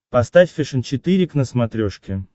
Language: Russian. поставь фэшен четыре к на смотрешке